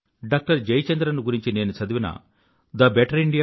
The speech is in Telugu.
డాక్టర్ జయచంద్రన్ గురించి నేను చదివిన thebetterindia